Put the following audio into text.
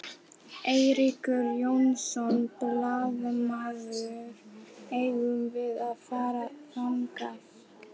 Eiríkur Jónsson, blaðamaður: Eigum við að fara þangað?